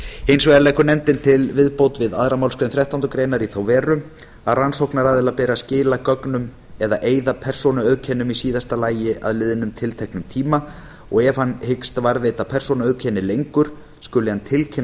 hins vegar leggur nefndin til viðbót við aðra málsgrein þrettándu greinar í þá veru að rannsóknaraðila beri að skila gögnum eða eyða persónuauðkennum í síðasta lagi að liðnum tilteknum tíma og ef hann hyggst varðveita persónuauðkenni lengur skuli hann tilkynna